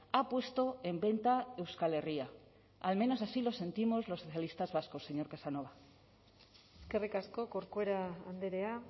ha puesto en venta euskal herria al menos así lo sentimos los socialistas vascos señor casanova eskerrik asko corcuera andrea